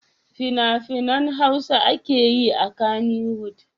Fina-finan Hausa ake yi a Kannywood.